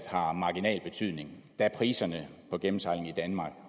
har marginal betydning da priserne på gennemsejling i danmark